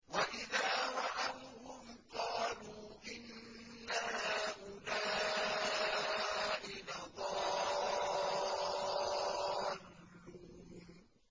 وَإِذَا رَأَوْهُمْ قَالُوا إِنَّ هَٰؤُلَاءِ لَضَالُّونَ